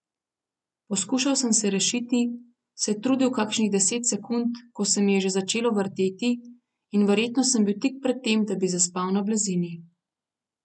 Poskušal sem se rešiti, se trudil kakšnih deset sekund, ko se mi je že začelo vrteti in verjetno sem bil tik pred tem, da bi zaspal na blazini.